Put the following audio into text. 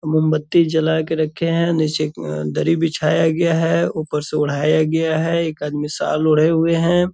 मौनबत्ती जला के रखे है नीचे उम दरी बिछाया गया है ऊपर से ओढ़ाया गया है एक आदमी शाल ओढ़े हुए है।